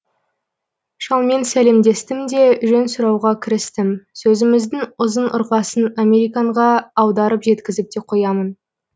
шалмен сәлемдестім де жөн сұрауға кірістім сөзіміздің ұзын ырғасын американға аударып жеткізіп те қоямын